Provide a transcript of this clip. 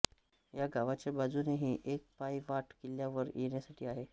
या गावाच्या बाजूनेही एक पाय वाट किल्ल्यावर येण्यासाठी आहे